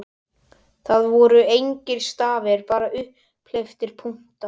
Það voru engir stafir, bara upphleyptir punktar!